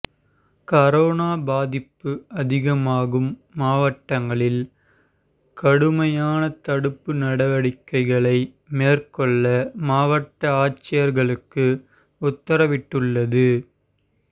corona பாதிப்பு அதிகமாகும் மாவட்டங்களில் கடுமையான தடுப்பு நடவடிக்கைகளை மேற்கொள்ள மாவட்ட ஆட்சியா்களுக்கு உத்தரவிட்டுள்ளது